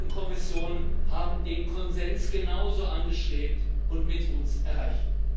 Rat und Kommission haben den Konsens genauso angestrebt und mit uns erreicht.